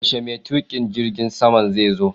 Yaushe mai tuƙin jirgin saman zai zo?